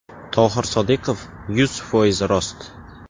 Tohir Sodiqov: Yuz foiz rost.